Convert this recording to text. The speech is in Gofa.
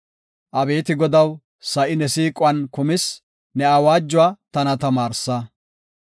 Abeeti Godaw, sa7i ne siiquwan kumis; ne awaajuwa tana tamaarsa.